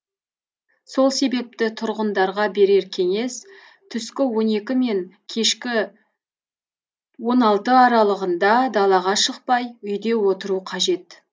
сол себепті тұрғындарға берер кеңес түскі он екі мен кешкі он алты аралығында далаға шықпай үйде отыру қажет